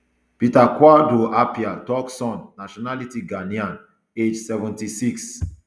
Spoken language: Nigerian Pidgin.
peter kodwo appiah turkson nationality ghanaian age seventy-six